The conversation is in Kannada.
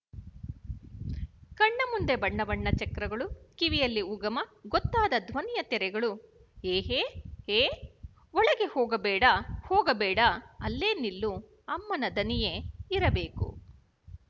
ಕಣ್ಣಮುಂದೆ ಬಣ್ಣಬಣ್ಣ ಚಕ್ರಗಳು ಕಿವಿಯಲ್ಲಿ ಉಗಮ ಗೊತ್ತಾಗದ ಧ್ವನಿಯ ತೆರೆಗಳು ಏ ಏ ಏ ಒಳಗೆ ಹೋಗಬೇಡಹೋಗಬೇಡ ಅಲ್ಲೇ ನಿಲ್ಲು ಅಮ್ಮನ ದನಿಯೆ ಇರಬೇಕು